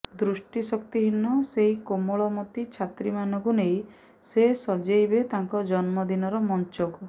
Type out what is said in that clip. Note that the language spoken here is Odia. ଦୃଷ୍ଟିଶକ୍ତି ହୀନ ସେଇ କୋମଳମତୀ ଛାତ୍ରୀମାନଙ୍କୁ ନେଇ ସେ ସଜେଇବେ ତାଙ୍କ ଜନ୍ମ ଦିନର ମଞ୍ଚକୁ